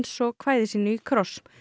svo kvæði sínu í kross